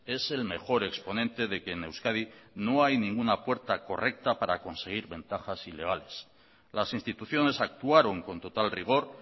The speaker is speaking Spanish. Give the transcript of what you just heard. es el mejor exponente de que en euskadi no hay ninguna puerta correcta para conseguir ventajas ilegales las instituciones actuaron con total rigor